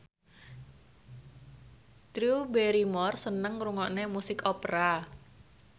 Drew Barrymore seneng ngrungokne musik opera